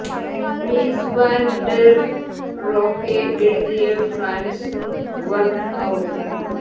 മീസ് van der Rohe എഴുതിയ Farnsworth house